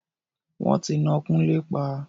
Wọ́n ti ná Kúnlé pa.